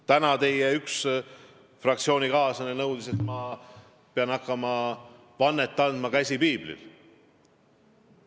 Täna üks teie fraktsioonikaaslane nõudis, et ma pean hakkama vannet andma, käsi piiblil.